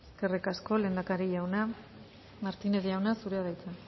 eskerrik asko lehendakari jauna martínez jauna zurea da hitza